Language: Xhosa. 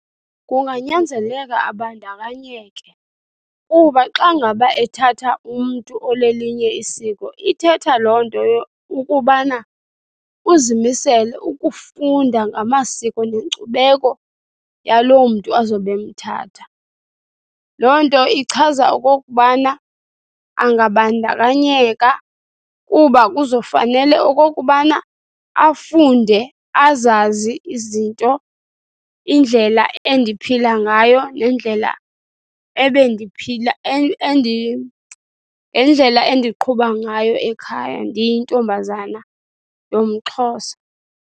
Kunganyanzeleka abandakanyeke kuba xa ngaba ethatha umntu olelinye isiko ithetha loo nto ukubana uzimisele ukufunda ngamasiko nenkcubeko yaloo mntu azobe emthatha. Loo nto ichaza okokubana angabandakanyeka kuba kuzo kufanele okokubana afunde, azazi izinto, indlela endiphila ngayo nendlela nendlela endiqhuba ngayo ekhaya ndiyintombazana yomXhosa.